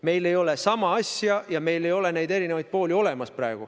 Meil ei ole sama asja ja meil ei ole neid erinevaid pooli praegu olemas.